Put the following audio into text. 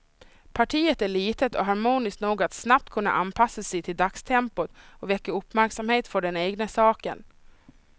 Partiet är litet och harmoniskt nog att snabbt kunna anpassa sig till dagstempot och väcka uppmärksamhet för den egna saken.